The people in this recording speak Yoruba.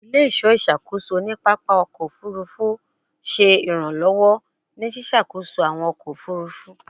Ile-iṣọ iṣakoso ni papa ọkọ ofurufu ṣe iranlọwọ ni ṣiṣakoso awọn ọkọ ofurufu